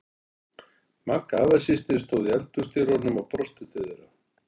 Magga afasystir stóð í eldhúsdyrunum og brosti til þeirra.